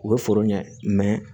U bɛ foro ɲɛ